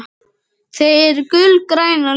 Þau eru gulgræn á lit.